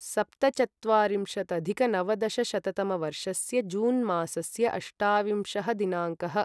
सप्तचत्वारिंशदधिकनवदशशततमवर्षस्य June मासस्य अष्टाविंशः दिनाङ्कः